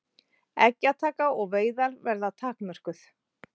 Eggjataka og veiðar verði takmörkuð